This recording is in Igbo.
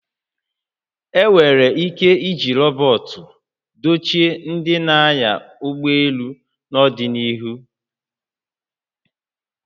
E nwere ike iji rọbọt dochie ndị na-anya ụgbọ elu n'ọdịnihu